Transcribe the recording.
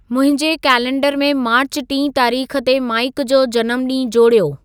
मुंहिंजे कैलेंडर में मार्च टीं तारीख़ ते माइक जो जनमु ॾींहुं जोड़ियो